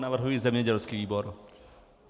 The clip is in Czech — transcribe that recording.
Navrhuji zemědělský výbor.